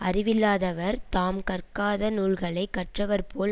அறிவில்லாதவர் தாம் கற்காத நூல்களை கற்றவர் போல்